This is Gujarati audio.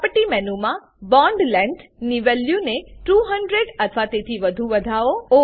પ્રોપર્ટી મેનુ માં બોન્ડ લેંગ્થ ની વેલ્યુને 200 અથવા તેથી વધુ વધાવો